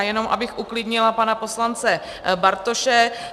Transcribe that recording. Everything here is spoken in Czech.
A jenom abych uklidnila pana poslance Bartoše.